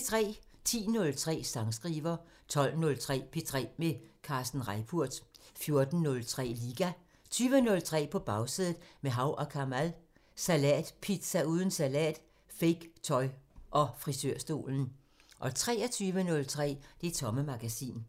10:03: Sangskriver 12:03: P3 med Kasper Reippurt 14:03: Liga 20:03: På Bagsædet – med Hav & Kamal: Salatpizza uden salat, fake tøj og frisørstolen 23:03: Det Tomme Magasin